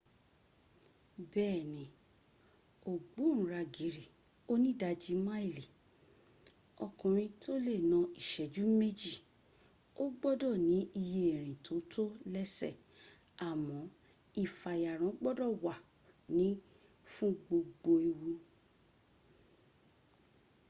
bẹ́ẹ̀ni ògbóǹragìrì onídajì máìlì ọkùnrin tó lè na ìṣẹ́jú méjì ó gbọ́dọ̀ ní iye ìrìn tó tó lẹ́sẹ̀ àmọ́ ìfàyàrán gbọ́dọ̀ wà ní fún gbogbo ewu